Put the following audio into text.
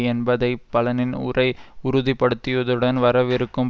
என்பதை பலனின் உரை உறுதிபடுத்தியதுடன் வரவிருக்கும்